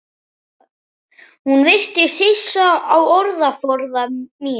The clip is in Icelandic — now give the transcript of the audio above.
Hún virðist hissa á orðaforða mínum.